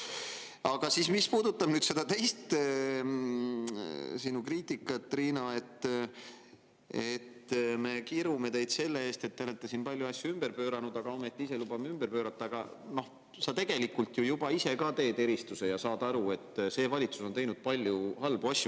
Aga mis puudutab, Riina, sinu teist kriitikat, et me kirume teid selle eest, et te olete siin palju asju ümber pööranud, aga ometi ise lubame ümber pöörata, siis sa tegelikult ju ise ka teed juba eristuse ja saad aru, et see valitsus on teinud palju halbu asju.